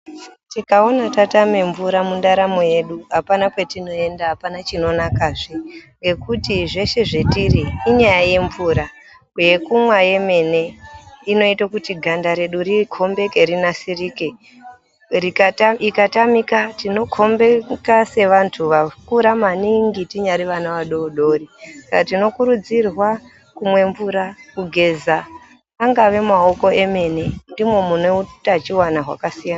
Tikaona tatame mvura mundaramo yedu hapana kwatinoenda hapana chinonakazve. Nekuti zveshe zvetiri inyaya yemvura yekumwa yemene inoita kuti ganda redu rikombeke rinasirike. Ikatambika tinokombeka sevantu vakura maningi tinyari vana vadodori. Saka tinokurudzirwa kumwe mvura kugeza angave maoko emene ndomo mune utachivana hwakasirana.